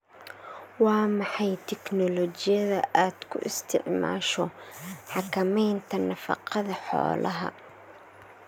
Waa maxay tignoolajiyada aad ku isticmaasho xakamaynta nafaqada xoolaha?